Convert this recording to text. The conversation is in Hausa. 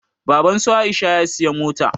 Baban su Aisha ya siyi mota